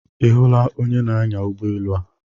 Ị hụla onye na-anya ụgbọ elu a?